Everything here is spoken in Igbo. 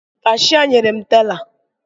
Kashịa nyere m tela